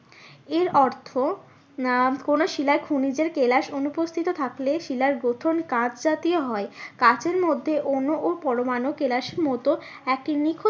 এর অর্থ আহ কোনো শিলায় কোনো খনিজের কেলাস অনুপস্থিত থাকলে শিলার গঠন কাঁচ জাতীয় হয়। কাঁচের মধ্যে অনু ও পরমাণু কেলাসের মতো একটি নিখুঁত